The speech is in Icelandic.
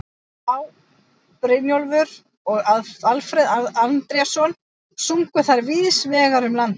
Á., Brynjólfur og Alfreð Andrésson sungu þær víðs vegar um landið.